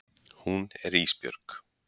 Hún er Ísbjörg.